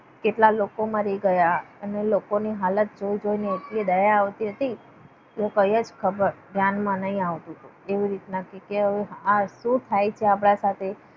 કેટલા લોકોમાં મરી ગયા. અને લોકોની હાલત જોઈ જોઈને એટલી દયા આવતી હતી. કે કયા જ ધ્યાનમાં નહીં આવતું હતું. એવી રીતના કે આ શું થાય છે આપણા સાથે?